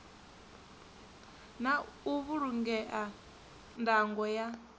na u vhulungea ndango ya